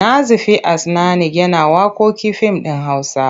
Nazifi As'nanik yana waƙoƙin fim ɗin Hausa.